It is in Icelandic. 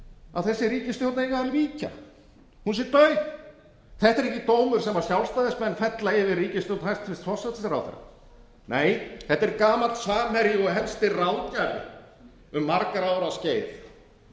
að þessi ríkisstjórn eigi að víkja hún sé dauf þetta er ekki dómur sem sjálfstæðismenn fella yfir ríkisstjórn hæstvirtur forsætisráðherra nei þetta er gamall samherji og helsti ráðgjafi um margra ára skeið